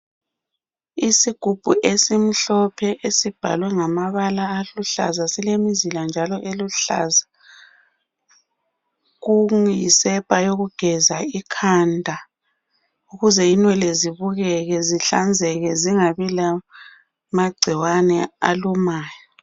Isigubhu esimhlophe esibhalwe ngamabala aluhlaza silemzila njalo eluhlaza , kuyisepa yokugeza ikhanda ukuze inwele zibukeke zihlanzeke zingabi lamagcikwane alumayo.